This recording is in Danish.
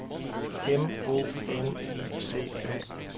M O N I C A